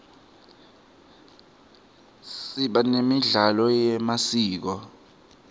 siba nemidlalo yemasiko